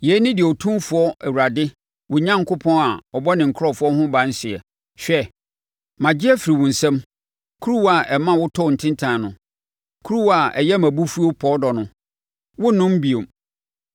Yei ne deɛ Otumfoɔ Awurade, wo Onyankopɔn a ɔbɔ ne nkurɔfoɔ ho ban seɛ: “Hwɛ, magye afiri wo nsa mu kuruwa a ɛma wotɔɔ ntintan no kuruwa a ɛyɛ mʼabufuo pɔɔdɔ no, worennom bio.